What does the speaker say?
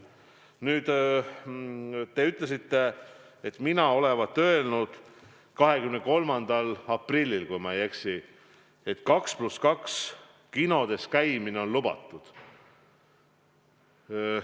Nüüd, te ütlesite, et mina olevat öelnud 23. aprillil, kui ma ei eksi, et 2 + 2 kinodes käimine on lubatud.